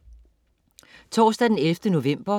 Torsdag den 11. november